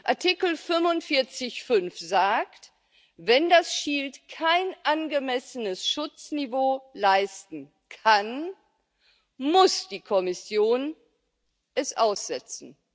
Artikel 45 Absatz 5 sagt Wenn das Shield kein angemessenes Schutzniveau leisten kann, muss die Kommission es aussetzen.